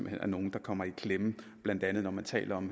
hen er nogle der kommer i klemme blandt andet når man taler om